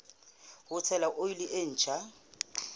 ho tshela oli e ntjha